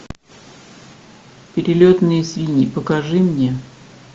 перелетные свиньи покажи мне